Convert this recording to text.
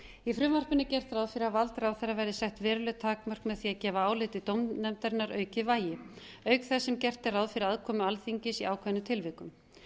í frumvarpinu er gert ráð fyrir að vald ráðherra verði sett veruleg takmörk með því að gefa áliti dómnefndarinnar aukið vægi auk þess sem gert er ráð fyrir aðkomu alþingis í ákveðnum tilvikum